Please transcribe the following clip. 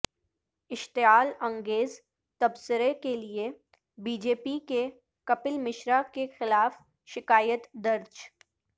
اشتعال انگیز تبصرے کے لیے بی جے پی کے کپل مشرا کے خلاف شکایت درج